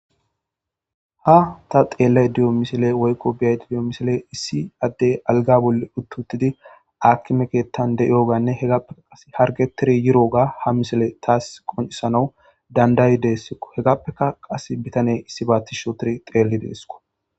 Ha ta xeelle diyo misile woykko biyayi diyo misile issi addey algabule uttuttidi akimekettan de'iyoganne hegappeka qas hargetiri yiro ga ha misele taas qoncisanawu dandayi deeskko hegappeka qas bitane issi baattishotiri xeelli deesko.